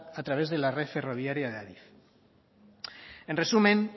a través de la red ferroviaria de adif en resumen